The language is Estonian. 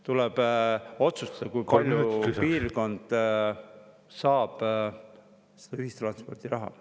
Tuleb otsustada, kui palju piirkond saab seda ühistranspordiraha.